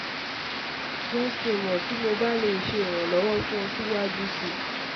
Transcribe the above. Jẹ ki n mọ ti Mo ba le ṣe iranlọwọ fun ọ siwaju sii